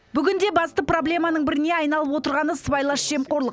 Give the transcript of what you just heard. бүгінде басты проблеманың біріне айналып отырғаны сыбайлас жемқорлық